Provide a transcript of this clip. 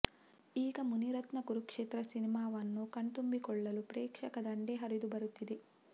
ಈಗ ಮುನಿರತ್ನ ಕುರುಕ್ಷೇತ್ರ ಸಿನಿಮಾವನ್ನು ಕಣ್ತುಂಬಿಕೊಳಲ್ಲು ಪ್ರೇಕ್ಷಕ ದಂಡೆ ಹರಿದು ಬರುತ್ತಿದೆ